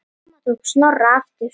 Mamma tók Snorra aftur.